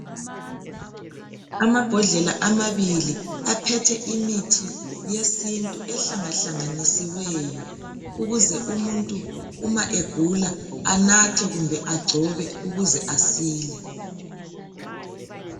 Amabhodlela amabili aphethe imithi yesintu ehlangahlanganisiweyo ukuze umuntu uma egula anathe kumbe agcobe